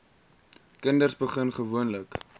kinders begin gewoonlik